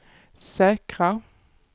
säkra